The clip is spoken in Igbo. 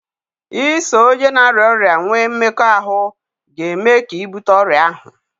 iso onye na-arịa ọrịa nwee mmekọahụ ga-eme ka ị bute ọrịa ahụ